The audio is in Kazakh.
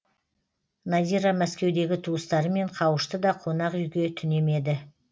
надира мәскеудегі туыстарымен қауышты да қонақ үйге түнемеді